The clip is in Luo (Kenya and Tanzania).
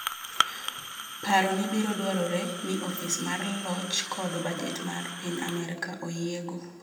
Paroni biro dwarore ni Ofis mar Loch kod Bajet mar piny Amerka oyiego.